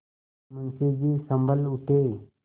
मुंशी जी सँभल उठे